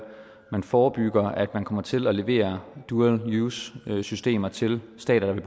forebygger at man kommer til at levere dual use systemer til stater der